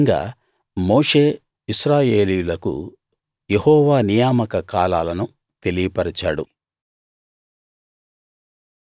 ఈ విధంగా మోషే ఇశ్రాయేలీయులకు యెహోవా నియామక కాలాలను తెలియపరిచాడు